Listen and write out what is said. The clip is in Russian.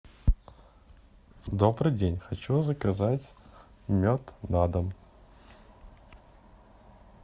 добрый день хочу заказать мед на дом